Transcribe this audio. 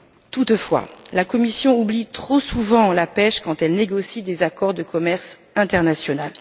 Toutefois, la Commission oublie trop souvent la pêche quand elle négocie des accords de commerce international.